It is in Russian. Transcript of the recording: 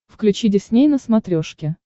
включи дисней на смотрешке